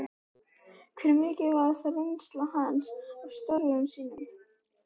Hver er mikilvægasta reynsla hans af störfum sínum?